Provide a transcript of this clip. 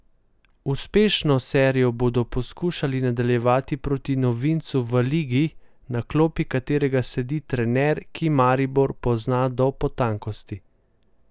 Uspešno serijo bodo poskušali nadaljevati proti novincu v ligi, na klopi katerega sedi trener, ki Maribor pozna do potankosti.